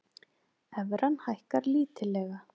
Evran hækkar lítillega